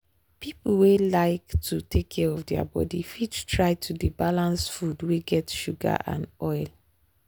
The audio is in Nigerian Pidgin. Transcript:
people wey like to take care of their body fit try to dey balance food wey get sugar and oil.